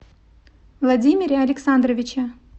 владимире александровиче